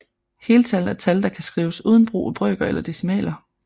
Heltal er tal der kan skrives uden brug af brøker eller decimaler